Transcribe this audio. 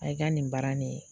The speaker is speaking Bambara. Ay ka nin baara nin